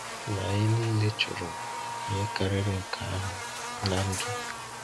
Ma anyị niile chọrọ ihe karịrị nke ahụ na ndụ.